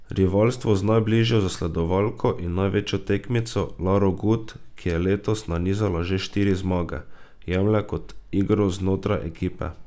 Rivalstvo z najbližjo zasledovalko in največjo tekmico Laro Gut, ki je letos nanizala že štiri zmage, jemlje kot igro znotraj ekipe.